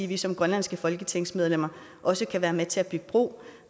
vi som grønlandske folketingsmedlemmer også kan være med til at bygge bro